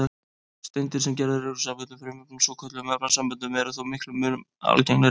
Steindir, sem gerðar eru úr samböndum frumefna, svokölluðum efnasamböndum, eru þó miklum mun algengari.